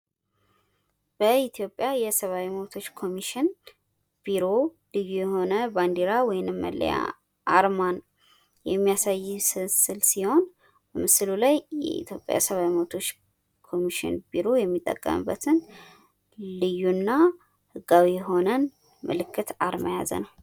ምስሉ የኢትዮጵያ ሰብኣዊ መብቶች ኮሚሽን ን አርማ ወይም ባንዲራ የሚያሳይ ሲሆን የራሱ የሆነ ህጋዊ አርማን የያዘ ነው።